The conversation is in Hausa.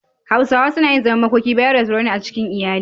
Hausawa suna yin zaman makoki bayan rasuwar wani a cikin iyali.